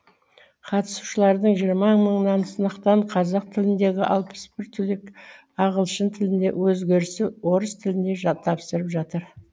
қатысушылардың жиырма мыңнан сынақтан қазақ тілінде алпыс бір түлек ағылшын тілінде өзгесі орыс тілінде тапсырып жатыр